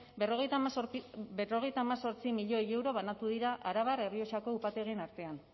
berrogeita hemezortzi milioi euro banatu dira arabar errioxako upategien artean